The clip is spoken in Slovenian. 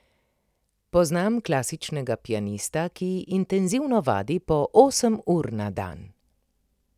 Poznam klasičnega pianista, ki intenzivno vadi po osem ur na dan.